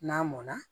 N'a mɔnna